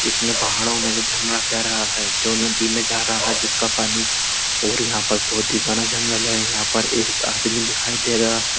इसमें पहाड़ो में जो झरना तैर रहा है जो नदी में जा रहा है जिसका पानी और यहाँ पर बोहोत ही घना जंगल है। यहाँ पर एक आदमी दिखाई दे रहा है।